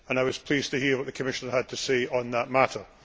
I was pleased to hear what the Commissioner had to say on that matter.